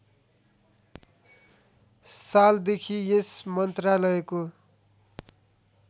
सालदेखि यस मन्त्रालयको